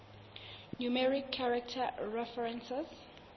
numeric character references